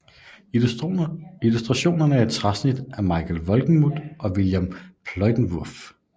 Illustrationerne er træsnit af Michael Wolgemut og Wilhelm Pleydenwurff